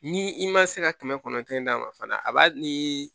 Ni i ma se ka kɛmɛ kɔnɔntɔn d'a ma fana a b'a nii